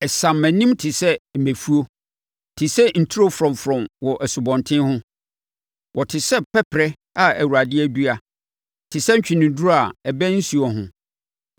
“Ɛsam mʼanim te sɛ mmɛfuo, te sɛ nturo frɔmfrɔm wɔ asubɔnten ho. Wɔte sɛ pɛperɛ a Awurade adua, te sɛ ntweneduro a ɛbɛn nsuo ho.